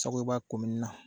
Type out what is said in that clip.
Sakoyiba na.